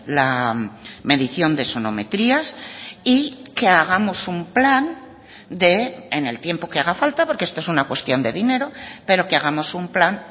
la medición de sonometrías y que hagamos un plan en el tiempo que haga falta porque esto es una cuestión de dinero pero que hagamos un plan